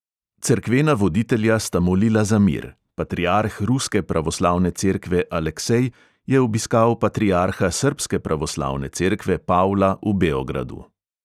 Cerkvena voditelja sta molila za mir: patriarh ruske pravoslavne cerkve aleksej je obiskal patriarha srbske pravoslavne cerkve pavla v beogradu.